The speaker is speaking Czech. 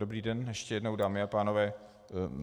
Dobrý den ještě jednou, dámy a pánové.